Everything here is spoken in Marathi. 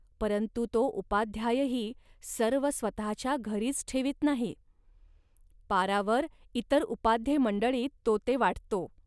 परंतु तो उपाध्यायही सर्व स्वतःच्या घरीच ठेवीत नाही. पारावर इतर उपाध्येमंडळींत तो ते वाटतो